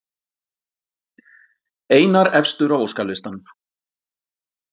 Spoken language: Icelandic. Einar efstur á óskalistanum